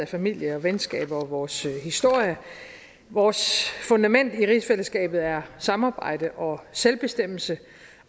familier og venskaber og vores historie og vores fundament i rigsfællesskabet er samarbejde og selvbestemmelse